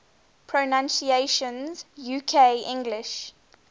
pronunciations uk english